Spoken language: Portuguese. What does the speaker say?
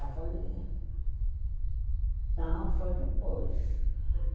Ah, foi... Não, foi depois.